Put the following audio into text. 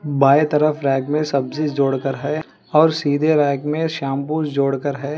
बाए तरफ रैक में सब्जी जोडकर है और सीधे रैक में शाम्पू जोडकर है।